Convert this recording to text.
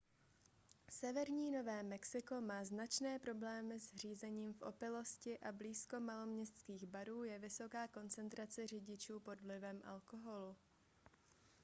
severní nové mexiko má značné problémy s řízením v opilosti a blízko maloměstských barů je vysoká koncentrace řidičů pod vlivem alkoholu